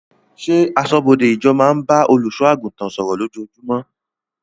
Ṣé aṣọ́bọdè ìjọ naa máa ń bá olùsọ àgùntàn sọ̀rọ̀ lójojúmó?